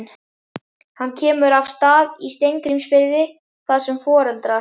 Hann kemur að Stað í Steingrímsfirði þar sem foreldrar